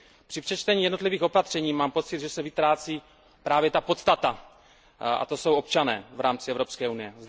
Při přečtení jednotlivých opatření mám pocit, že se vytrácí právě ta podstata, a to jsou občané v rámci Evropské unie.